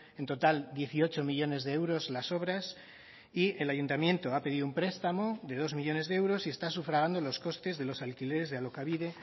en total dieciocho millónes de euros las obras y el ayuntamiento ha pedido un prestamo de dos millónes de euros y está sufragando los costes de los alquileres de alokabide